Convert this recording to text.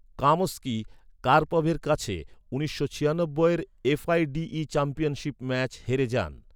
Kamsky, কার্পভের কাছে উনিশশো ছিয়ানব্বইয়ের F I D E championship match হেরে যান।